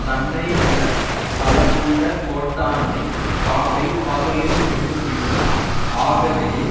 தன்னை விட பலமுள்ள கோட்டானை காக்கை பகலில் வென்றுவிடும் ஆகவே